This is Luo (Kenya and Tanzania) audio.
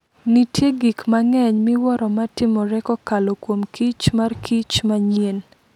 Nitie gik mang'eny miwuoro matimore kokalo kuom kich mar kich manyien.